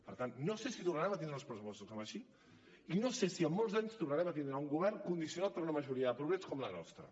per tant no sé si tornarem a tenir uns pressupostos així no sé si en molts anys tornarem a tindre un govern condicionat per una majoria de progrés com la nostra